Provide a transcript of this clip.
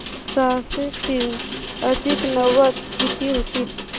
सहाशे तीन अधिक नव्वद किती होतील